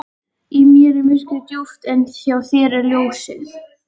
Í mér er myrkrið djúpt en hjá þér er ljósið.